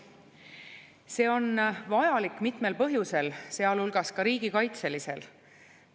See on vajalik mitmel põhjusel, sealhulgas riigikaitselisel põhjusel.